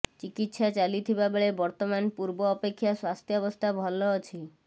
ଚିକିତ୍ସା ଚାଲିଥିବା ବେଳେ ବର୍ତ୍ତମାନ ପୂର୍ବ ଅପେକ୍ଷା ସ୍ୱାସ୍ଥ୍ୟାବସ୍ଥା ଭଲ ଅଛି